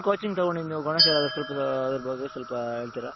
coaching ತಗೊಂಡಿದು ನೀವು ಗಣೇಶ್ ಅವರೇ ಸ್ವಲ್ಪ ಅದರ ಬಗ್ಗೆ ಸ್ವಲ್ಪ ಹೇಳ್ತೀರಾ?